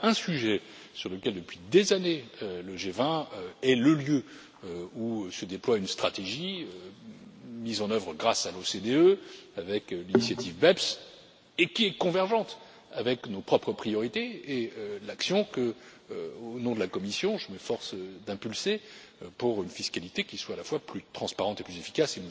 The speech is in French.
Voilà un sujet sur lequel, depuis des années, le G20 est le lieu où se déploie une stratégie mise en œuvre grâce à l'OCDE avec l'initiative BEPS, et qui est convergente avec nos propres priorités et l'action que, au nom de la Commission, je m'efforce d'impulser pour une fiscalité qui soit à la fois plus transparente et plus efficace.